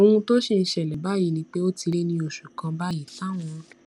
ohun tó sì ń ṣẹlè báyìí ni pé ó ti lé ní oṣù kan báyìí táwọn